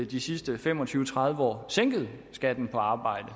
de sidste fem og tyve til tredive år sænket skatten på arbejde